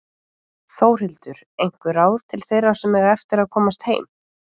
Þórhildur: Einhver ráð til þeirra sem eiga eftir að komast heim?